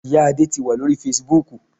Ìya Adé ti wà lórí Fasibúùkù